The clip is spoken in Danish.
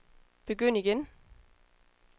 begynd igen